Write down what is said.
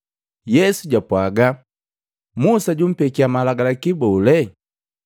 Yesu japwaaga, “Musa jumpekya malagalaki bole?”